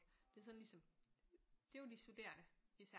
Det er sådan ligesom det er jo de studerende især